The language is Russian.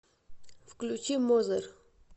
включи мозер